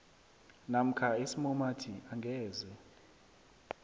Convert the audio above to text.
namkha isimumathi angeze